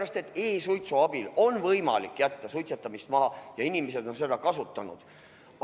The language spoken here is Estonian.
E-suitsu abil on võimalik suitsetamist maha jätta ja inimesed on seda kasutanud.